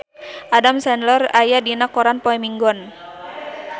Adam Sandler aya dina koran poe Minggon